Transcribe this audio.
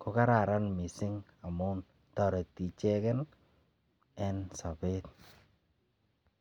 Ko kararan mising amun toreti ichegen en sobet.